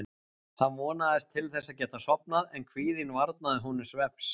Hann vonaðist til þess að geta sofnað en kvíðinn varnaði honum svefns.